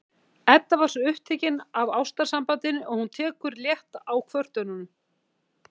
Edda er svo upptekin af ástarsambandinu að hún tekur létt á kvörtunum